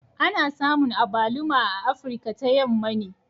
Ana samun Agbaluma a Afirka ta Yamma ne